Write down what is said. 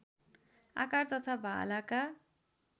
आकार तथा भालाका